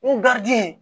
N